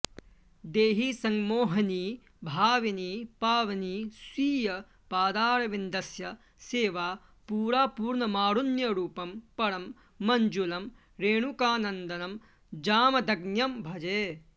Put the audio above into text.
देहि संमोहनी भाविनी पावनी स्वीय पादारविन्दस्य सेवा परा पूर्णमारुण्यरूपं परं मञ्जुलम् रेणुकानन्दनं जामदग्न्यं भजे